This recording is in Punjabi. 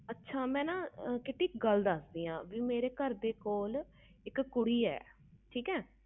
ਅੱਛਾ ਮਈ ਇਕ ਗੱਲ ਦਸ ਦੀ ਮੇਰੇ ਘਰ ਦੇ ਕੋਲ ਇਕ ਕੁੜੀ ਆ